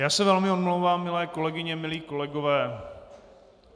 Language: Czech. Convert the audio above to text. Já se velmi omlouvám, milé kolegyně, milí kolegové.